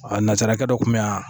A nasarakɛ dɔ kun bɛ yan